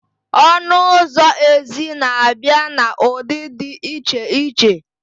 Ọnụ ụzọ ezi na abịa na ụdị dị iche iche